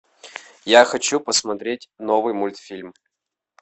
я хочу посмотреть новый мультфильм